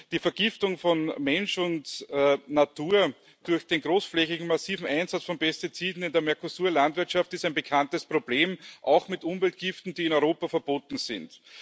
Die Vergiftung von Mensch und Natur durch den großflächigen massiven Einsatz von Pestiziden in der Mercosur Landwirtschaft ist ein bekanntes Problem, auch mit Umweltgiften, die in Europa verboten sind.